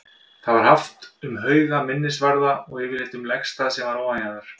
Það var haft um hauga, minnisvarða og yfirleitt um legstað sem var ofanjarðar.